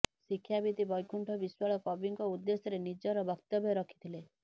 ଶିକ୍ଷାବିତ୍ ବୈକୁଣ୍ଠ ବିଶ୍ୱାଳ କବିଙ୍କ ଉଦ୍ଦେଶ୍ୟରେ ନିଜର ବକ୍ତବ୍ୟ ରଖିଥିଲେ